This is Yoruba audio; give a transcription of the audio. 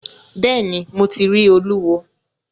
Bẹ́ẹ̀ ni, Mo ti rí Olúwo.